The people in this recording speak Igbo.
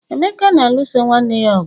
emeka na-alụso nwanne ya ọgụ